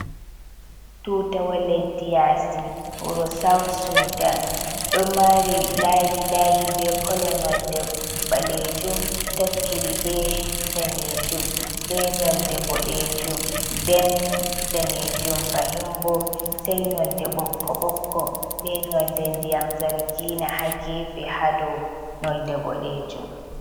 Tuttawo leddi yasi wuro South Sudan ɗo mari layi layi be kolo nonde ɓalejum tokkiri be danejum be nonde boɗejum nden danejum fahimbo sei nonde ɓokko ɓokko be nonde ndiyam zangina ha gefe ha dow nonde boɗejum.